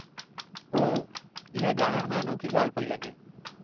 ओह, इहा ॼाणण में अनोखी ॻाल्हि पेई लॻे।